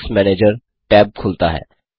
add ons manager tab खुलता है